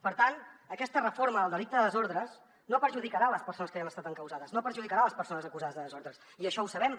per tant aquesta reforma del delicte de desordres no perjudicarà les persones que ja han estat encausades no perjudicarà les persones acusades de desordres i això ho sabem